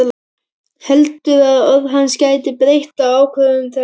Heldur að orð hans geti breytt ákvörðun hennar.